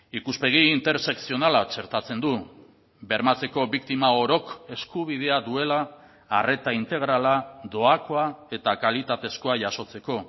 ikuspegi intersekzionala txertatzen du bermatzeko biktima orok eskubidea duela arreta integrala doakoa eta kalitatezkoa jasotzeko